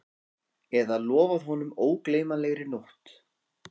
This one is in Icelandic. Eða lofað honum ógleymanlegri nótt